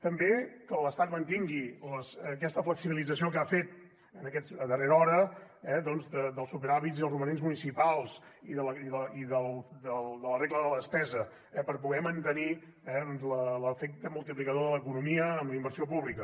també que l’estat mantingui aquesta flexibilització que ha fet a darrera hora dels superàvits i els romanents municipals i de la regla de la despesa per poder mantenir l’efecte multiplicador de l’economia en la inversió pública